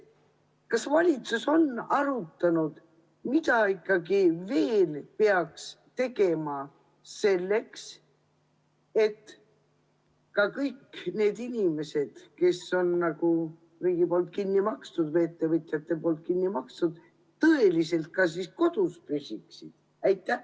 Kas valitsus on arutanud, mida veel peaks tegema selleks, et kõik need inimesed, kes on riigi või ettevõtjate poolt kinni makstud, ka tegelikult kodus püsiksid?